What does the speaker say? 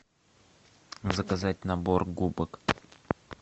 заказать набор губок